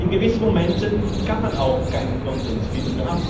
In gewissen Momenten kann man auch keinen Konsens finden.